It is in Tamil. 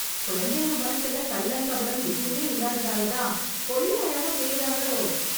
குழந்தைங்க மனசுல கள்ளம் கபடம் எதுமே இல்லாததாலதான், கொள்ளை அழகா தெரியறாங்களோ...